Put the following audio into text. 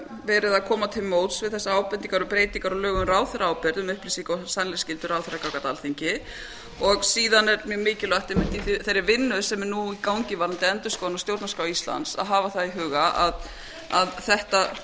verið að koma til móts við þessar ábendingar og breytingar á lögum um ráðherraábyrgð um upplýsinga og sannleiksskyldu ráðherra gagnvart alþingi síðan er mjög mikilvægt einmitt í þeirri vinnu sem er nú í gangi varðandi endurskoðun á stjórnarskrá íslands að hafa það í huga að þetta sé